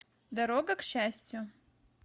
дорога к счастью